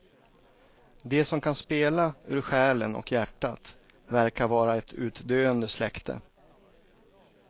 De som kan spela ur själen och hjärtat verkar vara ett utdöende släkte.